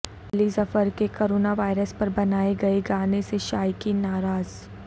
علی ظفر کے corona virus پر بنائے گانے سے شائقین ناراض